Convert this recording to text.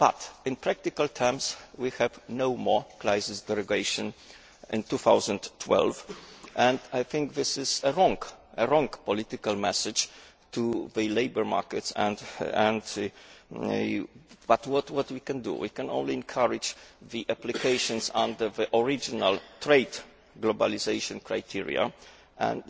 But, in practical terms, we have no more crisis derogation in 2012, and I think this is a wrong political message to send to the labour markets but what can we do? We can only encourage applications under the original trade globalisation criteria,